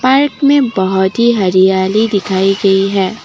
Park में बहोत ही हरियाली दिखाई गई है।